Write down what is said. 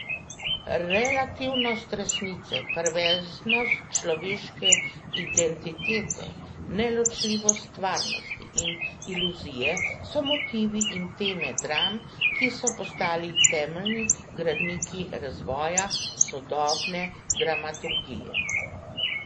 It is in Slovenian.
Relativnost resnice, perverznost človeške identitete, neločljivost stvarnosti in iluzije so motivi in teme dram, ki so postali temeljni gradniki razvoja sodobne dramaturgije.